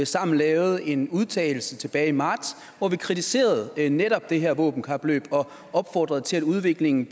sammen lavet en udtalelse tilbage i marts hvor vi kritiserede netop det her våbenkapløb og opfordrede til at udviklingen